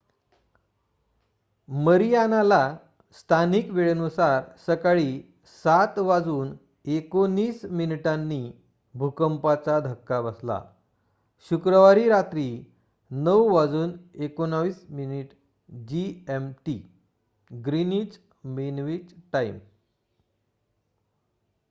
Mariana ला स्थानिक वेळेनुसार सकाळी 07:19 वाजता भूकंपाचा धक्का बसला. शुक्रवारी रात्री 09:19 जीएम टी